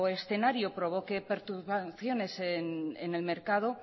escenario provoque perturbaciones en el mercado